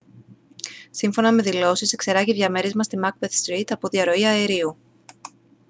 σύμφωνα με δηλώσεις εξερράγη διαμέρισμα στη macbeth street από διαρροή αερίου